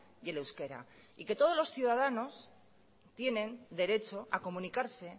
y el euskera y que todos los ciudadanos tienen derecho a comunicarse